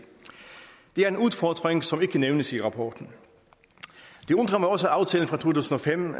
det er en udfordring som ikke nævnes i rapporten det undrer mig også at aftalen fra to tusind og fem